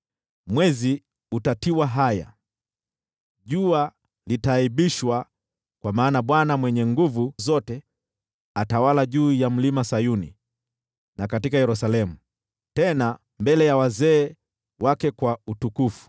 Mwezi utatiwa haya, nalo jua litaaibishwa; kwa maana Bwana Mwenye Nguvu Zote atawala juu ya Mlima Sayuni na katika Yerusalemu, tena mbele ya wazee wake kwa utukufu.